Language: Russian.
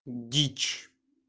дичь